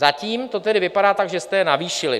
Zatím to tedy vypadá tak, že jste je navýšili.